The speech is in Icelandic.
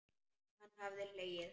Hann hafði hlegið.